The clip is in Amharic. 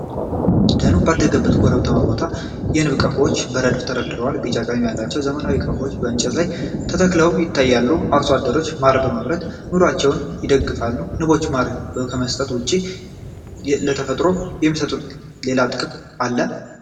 ደኑ ባደገበት ኮረብታማ ቦታ፣ የንብ ቀፎዎች በረድፍ ተቀምጠዋል። ቢጫ ቀለም ያላቸው ዘመናዊ ቀፎዎች በእንጨት ላይ ተተክለው ይታያሉ። አርሶ አደሮች ማር በማምረት ኑሮአቸውን ይደግፋሉ። ንቦች ማር ከመስጠት ውጪ ለተፈጥሮ የሚሰጡት ሌላ ጥቅም አለ?